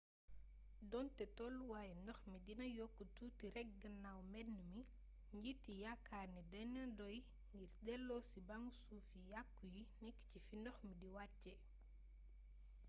doonte tolluwaayu ndox mi dina yokku tuuti rekk gannaaw mbënd mi njiit yi yaakaar nanu ne dina doy ngir deloosi bangu suuf yu yàkku yu nekk ci fi ndox mi d wàccee